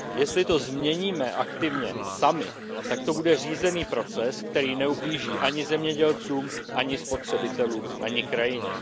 Jestli to změníme aktivně sami, tak to bude řízený proces, který neublíží ani zemědělcům, ani spotřebitelům, ani krajině.